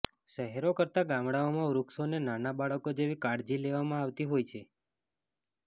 શહેરો કરતા ગામડાઓમાં વૃક્ષોને નાના બાળકો જેવી કાળજી લેવામાં આવતી હોય છે